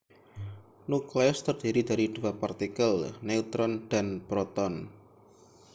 nukleus terdiri dari dua partikel neutron dan proton